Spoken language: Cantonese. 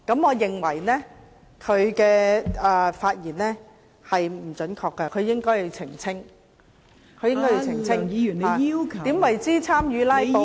我認為她的言論不準確。她應該要澄清何謂參與"拉布"。